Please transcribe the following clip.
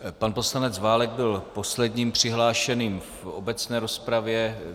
Pan poslanec Válek byl posledním přihlášeným v obecné rozpravě.